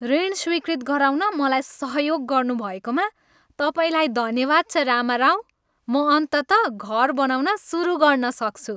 ऋण स्वीकृत गराउन मलाई सहयोग गर्नुभएकोमा तपाईँलाई धन्यवाद छ, रामाराव। म अन्ततः घर बनाउन सुरु गर्न सक्छु।